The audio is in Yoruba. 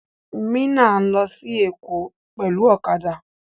Mina n lọ sí Èkó pẹlu ọ̀kadà.